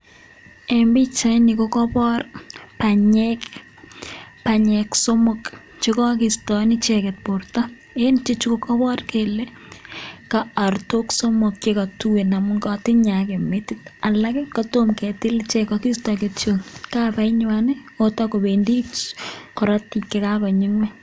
En pichaini ko kobor banyek, banyek somok chekokistoen icheket borto en ichechu ko kobor kelee ko ortok somok chekotuen amun kotinye akee metit alak kotom ketil ichek kokisto kityok kabainywan otokobendi korotik chekakonyi ngweny.